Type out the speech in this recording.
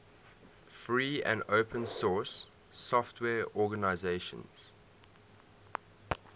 free and open source software organizations